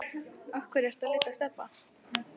Af hverju ertu að leita að Stebba